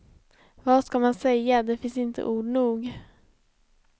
Vad skall man säga, det finns inte ord nog.